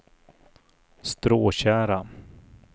Stråtjära